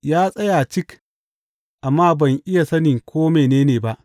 Ya tsaya cik, amma ban iya sani ko mene ne ba.